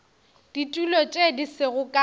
ditulo tše di sego ka